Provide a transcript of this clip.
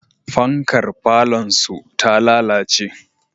Fankar falonsu ta lalace.